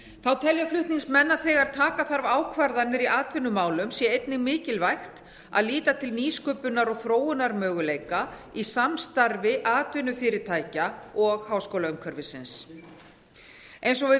þá telja flutningsmenn að þegar taka þarf ákvarðanir í atvinnumálum sé einnig mikilvægt að líta til nýsköpunar og þróunarmöguleika í samstarfi atvinnufyrirtækja og háskólaumhverfisins eins og við